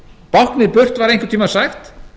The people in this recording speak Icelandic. báknið burt var einhvern tímann sagt